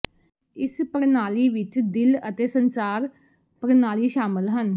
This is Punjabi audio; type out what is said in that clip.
ਇਸ ਪ੍ਰਣਾਲੀ ਵਿਚ ਦਿਲ ਅਤੇ ਸੰਚਾਰ ਪ੍ਰਣਾਲੀ ਸ਼ਾਮਲ ਹੈ